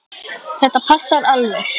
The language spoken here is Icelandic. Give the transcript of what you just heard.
Þetta passar alveg.